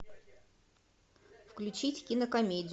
включить кинокомедию